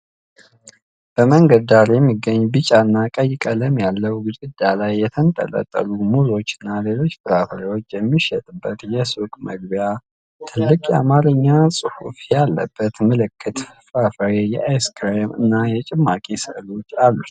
በመንገድ ዳር የሚገኝ ቢጫ እና ቀይ ቀለም ያለው ግድግዳ ላይ የተንጠለጠሉ ሙዞችና ሌሎች ፍራፍሬዎች የሚሸጥበት የሱቅ መግቢያ ። ትልቅ የአማርኛ ጽሑፍ ያለበት ምልክት የፍራፍሬ፣ የአይስክሬም እና የጭማቂ ስዕሎች አሉት።